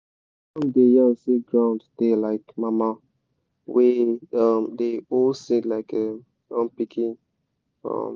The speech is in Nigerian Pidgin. som song da yan say ground da like mama wey um da hol seed like em um pikin um